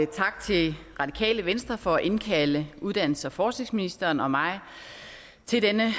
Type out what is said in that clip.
tak til radikale venstre for at indkalde uddannelses og forskningsministeren og mig til denne